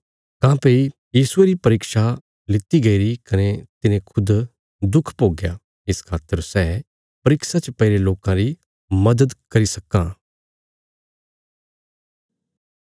काँह्भई यीशुये री परीक्षा लिति गईरी कने तिने खुद दुख भोग्या इस खातर सै परीक्षा च पैईरे लोकां री मदद करी सक्कां